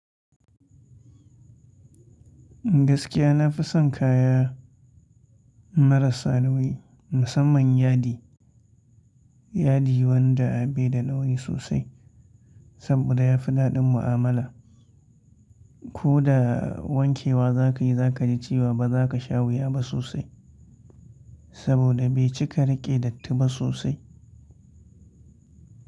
Gaskiya na fi son kaya marasa nauyi musamman yadi, yadi wanda bai da nauyi sosai saboda ya fi daɗin mu'amala. Ko da wanke wa za ka yi, za ka ji ciwa ba za ka sha wuya ba sosai saboda bai cika riƙe datti ba sosai.